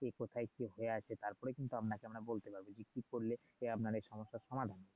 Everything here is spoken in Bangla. কি কোথায় কি হয়ে আছে তারপর কিন্তু আপনাকে আমরা বলতে পারবো কি করলে আপনার এই সমস্যার সমাধান হবে